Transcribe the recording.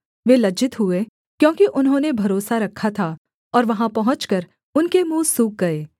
वे लज्जित हुए क्योंकि उन्होंने भरोसा रखा था और वहाँ पहुँचकर उनके मुँह सूख गए